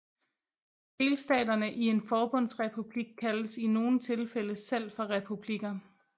Delstaterne i en forbundsrepublik kaldes i nogle tilfælde selv for republikker